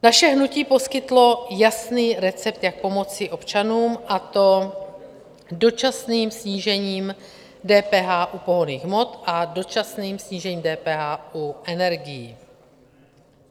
Naše hnutí poskytlo jasný recept, jak pomoci občanům, a to dočasným snížením DPH u pohonných hmot a dočasným snížením DPH u energií.